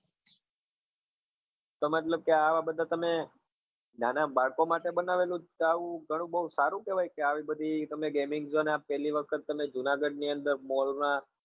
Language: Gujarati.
તો મતલબ કે આવા બધા તમે નાના બાળકો માટે બનાવેલું છે આવું ગણું બૌ સારું કેવાય કે આવી બધી તમે gameing તમે પેલી વખત તમે જુનાગઢ ની અંદર mall ના